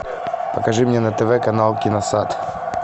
покажи мне на тв канал киносад